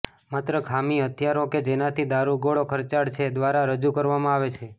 માત્ર ખામી હથિયારો કે જેનાથી દારૂગોળો ખર્ચાળ છે દ્વારા રજૂ કરવામાં આવે છે